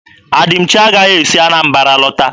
Adịmchi agaghị esi Anambara lọta.